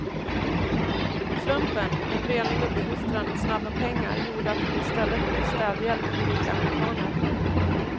Slumpen, en renlig uppfostran och snabba pengar gjorde att hon i stället blev städhjälp åt rika amerikaner.